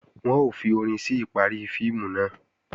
Wọ́n ó fi orin sí ìparí fíìmù náà